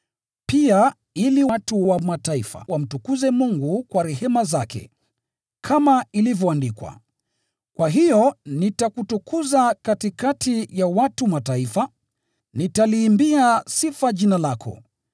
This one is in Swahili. pia ili watu wa Mataifa wamtukuze Mungu kwa rehema zake. Kama ilivyoandikwa: “Kwa hiyo nitakutukuza katikati ya watu wa Mataifa; nitaliimbia sifa jina lako.”